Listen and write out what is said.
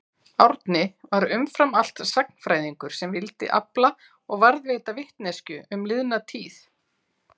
Árni var umfram allt sagnfræðingur sem vildi afla og varðveita vitneskju um liðna tíð.